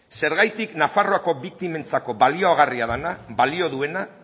zergatik nafarroako biktimentzako baliagarria dena balio duena